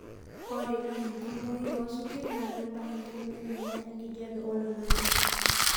ore enkumoi oosingir naa keiba enkibelekenyata enkijape oloingangi